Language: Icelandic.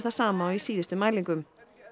sama og í síðustu mælingum